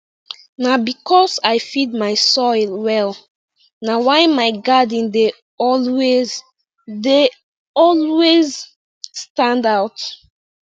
na because i feed my soil well na why my garden dey always dey always stand out